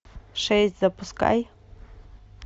шесть запускай